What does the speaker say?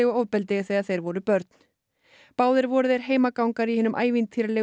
ofbeldi þegar þeir voru börn báðir voru þeir heimagangar í hinum ævintýralegu